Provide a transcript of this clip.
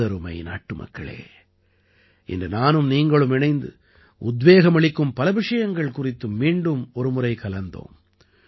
எனதருமை நாட்டுமக்களே இன்று நானும் நீங்களும் இணைந்து உத்வேகமளிக்கும் பல விஷயங்கள் குறித்து மீண்டும் ஒருமுறை கலந்தோம்